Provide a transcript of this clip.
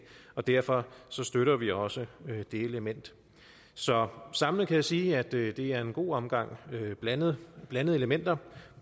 og derfor støtter vi også det element så samlet kan jeg sige at det er en god omgang blandede blandede elementer